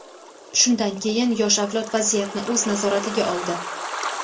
shundan keyin yosh avlod vaziyatni o‘z nazoratiga oldi.